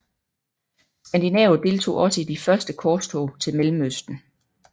Skandinaver deltog også i de første korstog til Mellemøsten